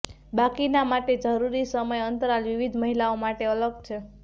બાકીના માટે જરૂરી સમય અંતરાલ વિવિધ મહિલાઓ માટે અલગ છે